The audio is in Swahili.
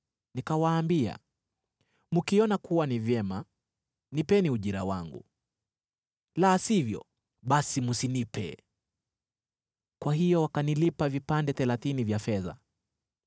Nikawaambia, “Mkiona kuwa ni vyema, nipeni ujira wangu, la sivyo, basi msinipe.” Kwa hiyo wakanilipa vipande thelathini vya fedha.